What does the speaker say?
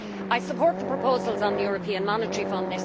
I support the proposals on the European Monetary Fund.